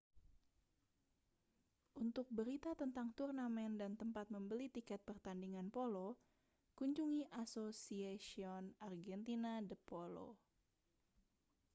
untuk berita tentang turnamen dan tempat membeli tiket pertandingan polo kunjungi asociacion argentina de polo